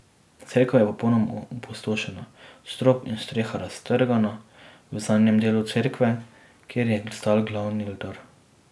Cerkev je popolnoma opustošena, strop in streha raztrgana v zadnjem delu cerkve, kjer je stal glavni oltar.